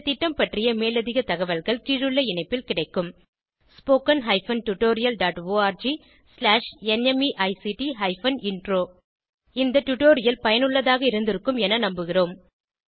இந்த திட்டம் பற்றிய மேலதிக தகவல்கள் கீழுள்ள இணைப்பில் கிடைக்கும் spoken hyphen tutorial dot org slash NMEICT hyphen intro இந்த பெர்ல் டுடோரியல் பயனுள்ளதாக இருந்திருக்கும் என நம்புகிறோம்